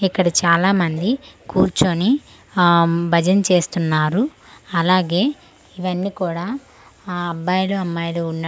ఇక్కడ చాలా మంది కూర్చొని అం భజన్ చేస్తున్నారు అలాగే ఇవ్వని కూడ ఆ అబ్బాయిలు అమ్మాయిలు ఉన్నటుగా ఉన్--